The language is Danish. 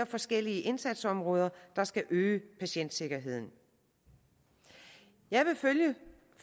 forskellige indsatsområder der skal øge patientsikkerheden jeg vil følge